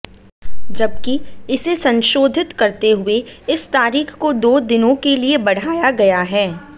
जबकि इसे संशोधित करते हुए इस तारीख को दो दिनों के लिए बढ़ाया गया है